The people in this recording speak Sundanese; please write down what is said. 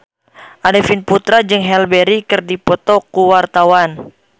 Arifin Putra jeung Halle Berry keur dipoto ku wartawan